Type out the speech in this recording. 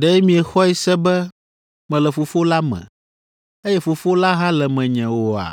Ɖe miexɔe se be mele Fofo la me, eye Fofo la hã le menye oa?